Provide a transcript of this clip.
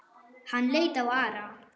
Hann leit á Ara.